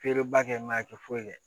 Feereba kɛ a tɛ foyi kɛ